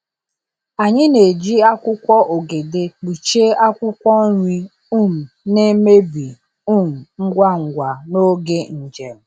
Anyị na-eji akwụkwọ ogede kpuchie akwụkwọ nri um na-emebi um ngwa ngwa n’oge njem.